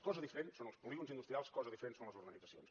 cosa diferent són els polígons industrials cosa diferent són les urbanitzacions